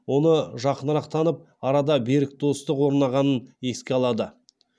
оны жақынырақ танып арада берік достық орнағанын еске алады